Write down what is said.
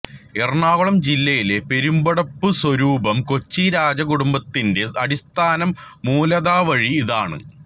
എറണാകുളം ജില്ലയിലെ പെരുമ്പടപ്പു സ്വരൂപം കൊച്ചി രാജകുടുംബത്തിന്റെ അടിസ്ഥാനം മൂല താവഴി ഇതാണ്